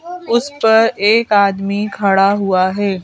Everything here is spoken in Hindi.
उस पर एक आदमी खड़ा हुआ है।